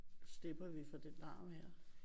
Slipper vi for det larm her?